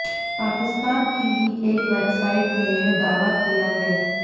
पाकिस्तान की ही एक वेबसाइट ने यह दावा किया है